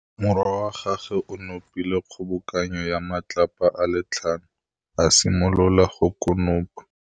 Morwa wa gagwe o nopile kgobokanô ya matlapa a le tlhano, a simolola go konopa.